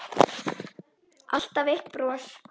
Alltaf eitt bros.